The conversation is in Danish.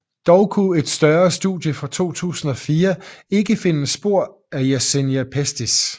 Dog kunne et større studie fra 2004 ikke finde spor af Yersinia Pestis